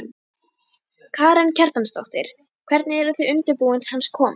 Karen Kjartansdóttir: Hvernig eru þið undirbúin hans komu?